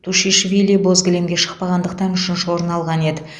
тушишвили боз кілемге шықпағандықтан үшінші орын алған еді